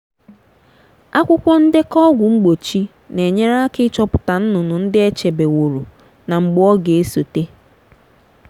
akwukwọ ndekọ ọgwụ mgbochi na-enyere aka ịchọpụta nnụnụ ndị e chebeworo na mgbe ọ ga-esote.